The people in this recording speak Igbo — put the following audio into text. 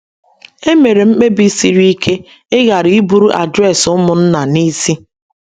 Emere m mkpebi siri ike ịghara iburu adres ụmụnna n’isi.